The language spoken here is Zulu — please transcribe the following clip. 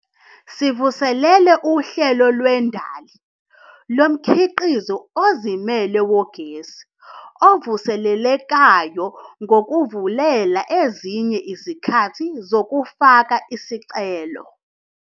Sivuselele uHlelo Lwendali Lomkhiqizi Ozimele Wogesi Ovuselelekayo ngokuvulela ezinye izikhathi zokufaka izicelo.